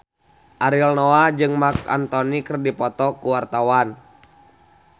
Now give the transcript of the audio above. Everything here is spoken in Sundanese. Ariel Noah jeung Marc Anthony keur dipoto ku wartawan